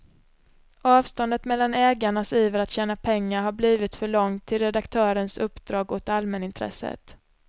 Avståndet mellan ägarnas iver att tjäna pengar har blivit för långt till redaktörens uppdrag åt allmänintresset.